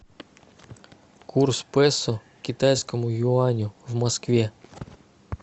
курс песо к китайскому юаню в москве